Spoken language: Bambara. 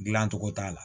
Dilancogo t'a la